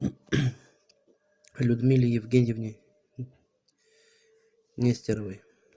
людмиле евгеньевне нестеровой